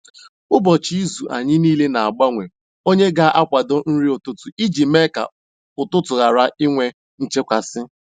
N’ụbọchị izu, anyị niile na-agbanwe onye ga akwado nri ụtụtụ iji mee ka ụtụtụ ghara inwe nchekasị